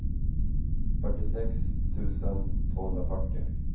fyrtiosex tusen tvåhundrafyrtio